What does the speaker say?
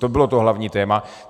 To bylo to hlavní téma.